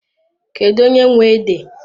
Kedụ onye nwe ede?